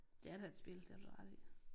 Det er da et spil det har du da ret i